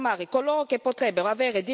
ad asilo e protezione.